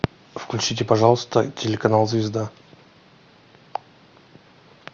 включите пожалуйста телеканал звезда